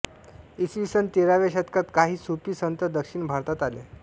इसवी सन तेराव्या शतकात काही सूफी संत दक्षिण भारतात आले